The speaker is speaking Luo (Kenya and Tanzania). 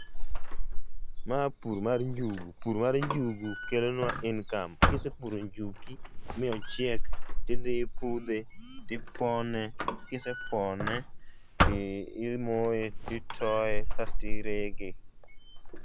Ma pur mar njugu. Pur mar njugu kelonwa income. Kisepuro njuki mi onchiek ti idhi ipudhe, tipone, kisepone ti imoye titoye kasti rege.